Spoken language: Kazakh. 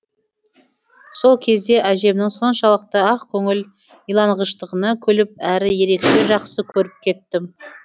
сол кезде әжемнің соншалықты ақкөңіл иланғыштығына күліп әрі ерекше жақсы көріп кеттім